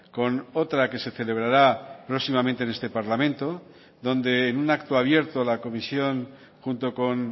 con otra que se celebrará próximamente en este parlamento donde en un acto abierto la comisión junto con